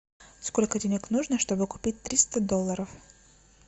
сколько денег нужно чтобы купить триста долларов